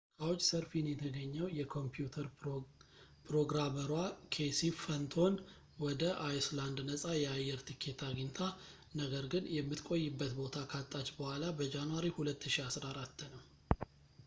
ካውችሰርፊን የተገነኘው የኮምፒውተር ፕሮግራመሯ ኬሲ ፈንቶን ወደ አይስላንድ ነፃ የአየር ቲኬት አግኝታ ነገር ግን የምትቆይበት ቦታ ካጣች ቡኃላ በጃንዋሪ 2004 ነው